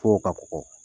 Fo ka kɔgɔ